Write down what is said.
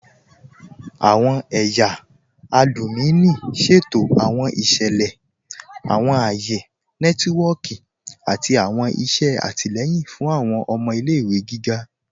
Awọn ẹ̀yà alùmíní ṣẹ̀tò awọn iṣẹlẹ, awọn ayé nẹtìwọ̀kì, àti awọn iṣẹ̀ àtílẹ̀yìn fún awọn ọmọ ilẹ̀-ìwé gígá.